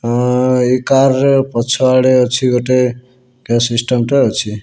ଅଁ ଏଇ କାର୍ ର ପଛ ଆଡେ ଅଛି ଗୋଟେ ସିଷ୍ଟମ୍ ଟେ ଅଛି।